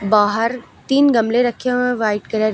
बाहर तीन गमले रखे हुए हैं व्हाइट कलर --